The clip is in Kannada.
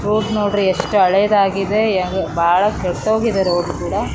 ‌ ರೋಡ್ ನೋಡ್ರಿ ಎಷ್ಟು ಹಳೆಯದಾಗಿದೆ ಏನ್ ಬಹಳ ಕೆಟ್ಟೋಗಿದೆ ರೋಡ್ ಕೂಡ .